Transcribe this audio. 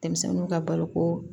Denmisɛnninw ka baloko